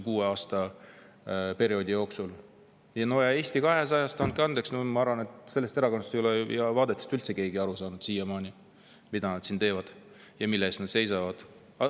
Ja no Eesti 200 vaadetest, andke andeks, ma arvan, ei ole üldse keegi siiamaani aru saanud, et mida nad siin teevad ja mille eest nad seisavad.